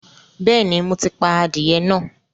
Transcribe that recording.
Bẹ́ẹ̀ni, mo ti pa adìyẹ náà